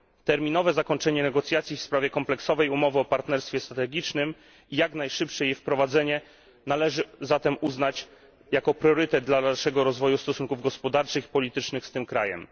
Terminowe zakończenie negocjacji w sprawie kompleksowej umowy o partnerstwie strategicznym i jak najszybsze jej wprowadzenie należy zatem uznać za priorytet dla dalszego rozwoju stosunków gospodarczych i politycznych z tym krajem.